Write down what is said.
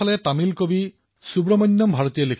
অৰ্থাৎ মাতৃভাষাৰ জ্ঞান অবিহনে উন্নতি সম্ভৱ নহয়